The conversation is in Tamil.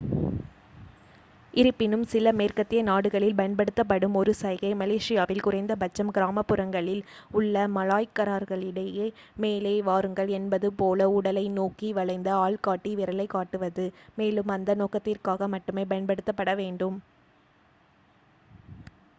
"இருப்பினும் சில மேற்கத்திய நாடுகளில் பயன்படுத்தப்படும் ஒரு சைகை மலேசியாவில் குறைந்த பட்சம் கிராமப்புறங்களில் உள்ள மலாய்க்காரர்களிடையே "மேலே வாருங்கள்" என்பது போல உடலை நோக்கி வளைந்த ஆள்காட்டி விரலைக்காட்டுவது மேலும் அந்த நோக்கத்திற்காக மட்டுமே பயன்படுத்தப்பட வேண்டும்.